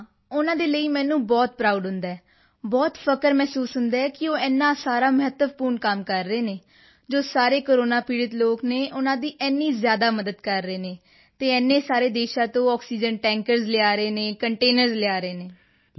ਹਾਂ ਉਨ੍ਹਾਂ ਦੇ ਲਈ ਮੈਨੂੰ ਬਹੁਤ ਪ੍ਰਾਉਡ ਹੁੰਦਾ ਹੈ ਬਹੁਤ ਫ਼ਖਰ ਮਹਿਸੂਸ ਹੁੰਦਾ ਹੈ ਕਿ ਉਹ ਏਨਾ ਸਾਰਾ ਮਹੱਤਵਪੂਰਣ ਕੰਮ ਕਰ ਰਹੇ ਹਨ ਜੋ ਸਾਰੇ ਕੋਰੋਨਾ ਪੀੜ੍ਹਤ ਲੋਕ ਹਨ ਉਨ੍ਹਾਂ ਦੀ ਇੰਨੀ ਜ਼ਿਆਦਾ ਮਦਦ ਕਰ ਰਹੇ ਹਨ ਅਤੇ ਇੰਨੇ ਸਾਰੇ ਦੇਸ਼ਾਂ ਤੋਂ ਆਕਸੀਜਨ ਟੈਂਕਰਜ਼ ਲਿਆ ਰਹੇ ਹਨ ਕੰਟੇਨਰਜ਼ ਲਿਆ ਰਹੇ ਹਨ